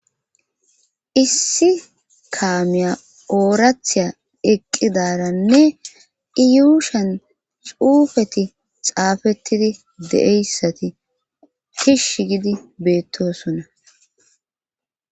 Issi kaamiya oorathiya eqqidaranne iyuushian xuufeti xaafettidi de7eyssati kish gidi beettosona